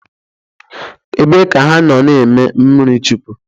Ebe ka ha no eme mmiri chukwụ?